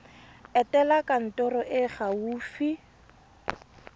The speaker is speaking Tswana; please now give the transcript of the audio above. etela kantoro e e gaufi